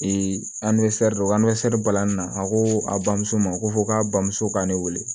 balani na a ko a bamuso ma ko fɔ k'a bamuso ka ne wele